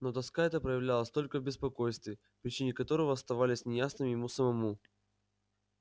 но тоска эта проявлялась только в беспокойстве причины которого оставались неясными ему самому